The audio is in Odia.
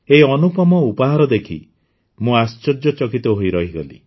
ଏହି ଅନୁପମ ଉପହାର ଦେଖି ମୁଁ ଆଶ୍ଚର୍ଯ୍ୟଚକିତ ହୋଇ ରହିଗଲି